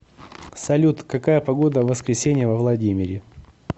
салют какая погода в воскресенье во владимире